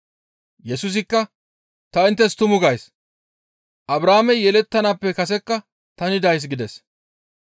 Yesusikka, «Ta inttes tumu gays; Abrahaamey yelettanaappe kasekka tani days» gides.